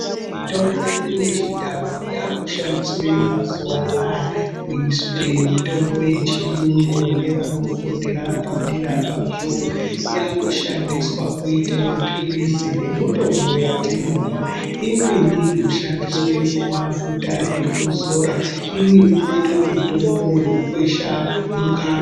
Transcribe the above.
Mitombo yedu yechindau yakushandiswe mazuva anaya kuite mitombo yechiyungu ngevanofundira padera pazvo. yakushandisa kuita maphirizi nemitombo yatinomwa. Imweni inoshandiswe semafuta ekuzora. Imweni inota mitombo vekukwesha mukanwa.